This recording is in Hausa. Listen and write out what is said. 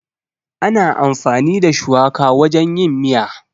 Ana amfani da shuwaka wajen yin miya.